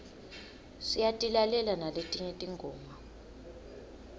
siyatilalela naletinye tingoma